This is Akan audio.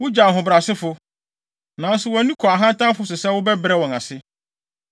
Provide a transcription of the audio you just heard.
Wugye ahobrɛasefo, nanso wʼani kɔ ahantanfo so sɛ wobɛbrɛ wɔn ase.